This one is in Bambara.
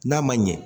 N'a ma ɲɛ